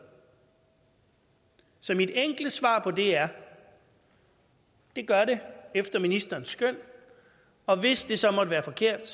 så mit enkle svar på det er det gør det efter ministerens skøn og hvis det så måtte være forkert